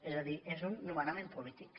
és a dir és un nomenament polític